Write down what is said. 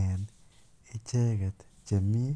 en icheket chemii.